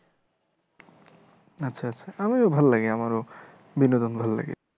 আচ্ছা আচ্ছা আমিও ভাল্লাগে আমারও বিনোদন ভাল্লাগে